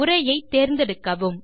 உரையை தேர்ந்தெடுக்கவும்